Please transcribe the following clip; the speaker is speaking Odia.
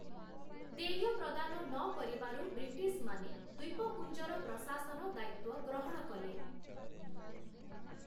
ଦେୟ ପ୍ରଦାନ ନକରିବାରୁ ବ୍ରିଟିଶମାନେ ଦ୍ୱୀପପୁଞ୍ଜର ପ୍ରଶାସନ ଦାୟିତ୍ୱ ଗ୍ରହଣ କଲେ ।